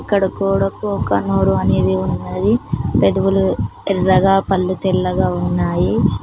అక్కడ గోడకు ఒక నోరు అనేది ఉన్నది పెదువులు ఎరగా పళ్ళు తెలంగాణ ఉన్నాయి.